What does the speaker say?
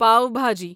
pav bhaji